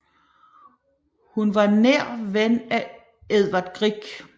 Hun var nær ven af Edvard Grieg